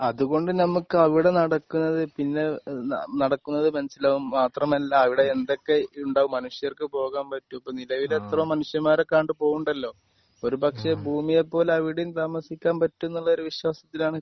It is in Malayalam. അത് കൊണ്ട് നമുക്ക് അവിടെ നടക്കുന്നത് പിന്നെ നടക്കുന്നത് മനസ്സിലാകും. മാത്രമല്ല അവിടെ എന്തൊക്കെ ഉണ്ടാകും മനുഷ്യർക്ക് പോകാൻ പറ്റും ഇപ്പൊ നിലവിൽ എത്ര മനുഷ്യന്മാരൊക്കെ അങ്ങട്ട് പോണിണ്ടല്ലോ. ഹ്മ് ഒരു പക്ഷെ ഭൂമിയെ പോലെ അവിടെയും താമസിക്കാൻ പറ്റും എന്നുള്ള ഒരു വിശ്വാസത്തിലാണ്